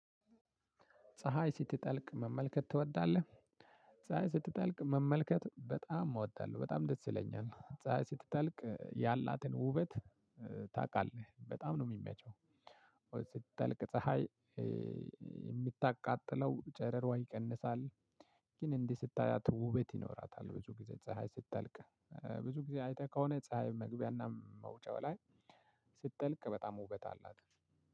ፀሀይ ስትጠልቅ መመልከት ትወዳለህ? ፀሀይ ስትጠልቅ መመልከት በጣም እወዳለሁ በጣም ደስ ይለኛል። ፀሀይ ስትተልቅ ያላትን ውበት ታቃለህ በጣም ነው እሚመቸው? ወይ ስትጠልቅ ፀሀይ እምታቃጥለው ጨረሯ ይቀንሳል። ግን እንዲህ ስታያት ውበት ይኖራታል። ብዙ ጊዜ ፀሀይ ስታልቅ ብዙ ጊዜ አይተህ ከሆነ ፀሀይ መግቢያና መውጫው ላይ። ስትጠልቅ በጣም ውበት አላት።